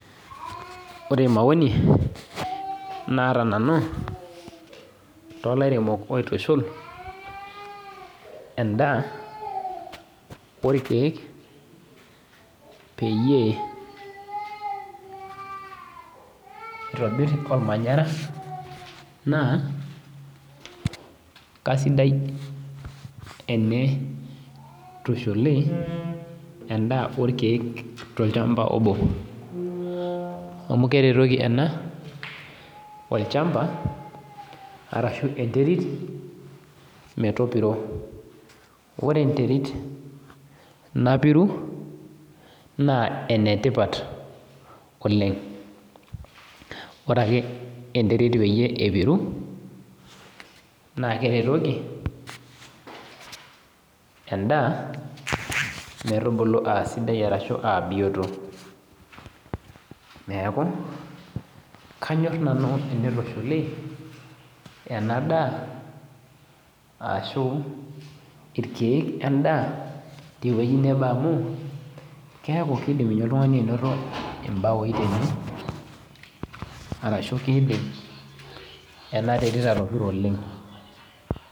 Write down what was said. Ore maoni naata nanu tolairemok oitushul endaa olkeek peyie eitobiri olmanyara naa keaisidai teneitushuli endaa olkeek tolchamba obo, amu keretoki ena olchamba arashu enterit metopiro, ore enterit napiru, naa ene tipat oleng'. Ore ake enterit metopiro naakeretoki endaa metubulu aa bioto, neaku kanyor nanu teneitushuli ena daa ashu, ilkeek wendaa tewueji nabo amu keaku keidim ninye ainoto oltung'ani imbaoi tene arashu keidim ena terit atopiro oleng'. Ore maoni naata nanu tooilaremok oitushul endaa olkeek peyie eitobiri olmanyara naa keaisidai teneitushuli endaa olkeek tolchamba obo, amu keretoki tolchamba anaa enterit metopiro ore enterit napiru naa ene tipat oleng', ore ake enterit peyie epuru, naakeretoki endaa metubulu aa sidai arashu aa bioto, neaku kanyor nanu teneitushuli ena daa ashu ilkeek wendaa tewueji nabo amu keaku keidim ninye oltung'ani ainoto imbaoi tene arashu keidim ena terit atopiro oleng'.